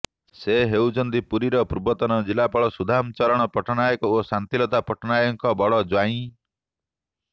ସେ ହେଉଛନ୍ତି ପୁରୀର ପୂର୍ବତନ ଜିଲାପାଳ ସୁଦାମ ଚରଣ ପଟ୍ଟନାୟକ ଓ ଶାନ୍ତିଲତା ପଟ୍ଟନାୟକଙ୍କ ବଡ଼ ଜ୍ବାଇଁ